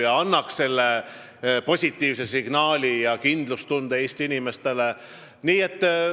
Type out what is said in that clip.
See pidi Eesti inimestele andma positiivse signaali ja kindlustunde.